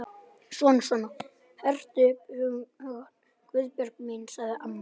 Svona svona, hertu upp hugann, Guðbjörg mín sagði amma.